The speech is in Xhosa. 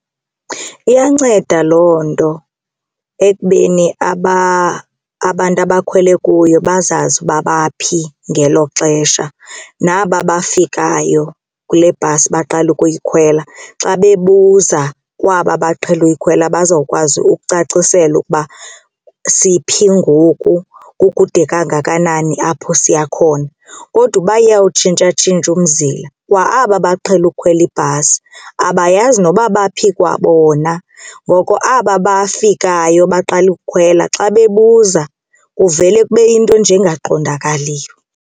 Iyanceda loo nto ekubeni abantu abakhwele kuyo bazazi uba baphi ngelo xesha naba befikayo kule bhasi baqala ukuyikhwela xa bebuza kwaba baqhele uyikhwela bazokwazi ukucacisela ukuba siphi ngoku, kukude kangakanani apho siya khona. Kodwa uba iyawutshintshatshintsha umzila kwa aba baqhele ukukhwela ibhasi abayazi noba baphi kwabona ngoko aba bafikayo baqala ukukhwela xa bebuza kuvele kube yinto nje engaqondakaliyo.